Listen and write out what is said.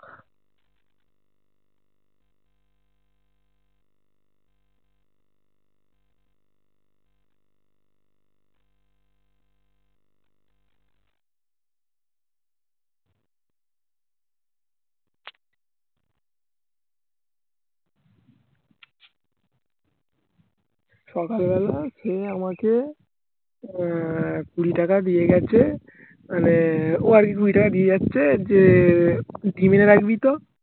সকালবেলা খেয়ে আমাকে আহ কুঁড়িটাকে দিয়ে গেছে মানে ও আরকি কুঁড়িটাকে দিয়ে যাচ্ছে যে ডিম্ এনে রাখবি তো